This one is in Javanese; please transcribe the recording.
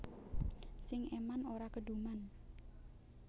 Sing eman ora keduman